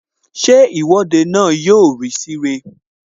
Ṣé Ìwọ́de náà yọ rí sí ire?